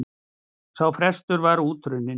Sá frestur er út runninn.